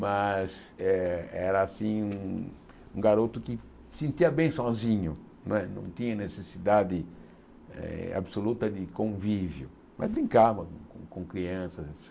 Mas é era assim um um garoto que se sentia bem sozinho, não é não tinha necessidade eh absoluta de convívio, mas brincava com crianças.